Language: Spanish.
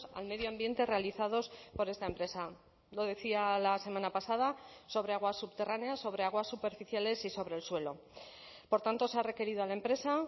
al medio ambiente realizados por esta empresa lo decía la semana pasada sobre agua subterránea sobre aguas superficiales y sobre el suelo por tanto se ha requerido a la empresa